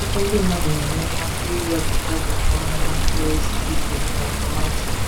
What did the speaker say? Ọtụtụ ndị mmadụ na-enwe mmasị iri avocados ọnụ na mkpụrụ osisi citrus ma ọ bụ tomati.